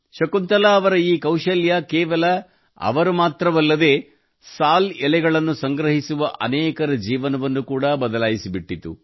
ಶಕುಂತಲಾ ಅವರ ಈ ಕೌಶಲ್ಯವು ಕೇವಲ ಅವರ ಜೀವನವನ್ನು ಮಾತ್ರವಲ್ಲದೇ ಸಾಲ್ ಎಲೆಗಳನ್ನು ಸಂಗ್ರಹಿಸುವ ಅನೇಕರ ಜೀವನವನ್ನು ಕೂಡಾ ಬದಲಾಯಿಸಿಬಿಟ್ಟಿತು